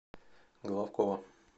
головкова